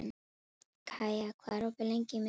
Kaía, hvað er opið lengi á miðvikudaginn?